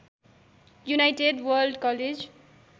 United World college